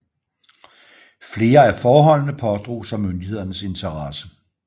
Flere af forholdene pådrog sig myndighedernes interesse